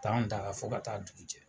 T'an da fo ka taa duku jɛ.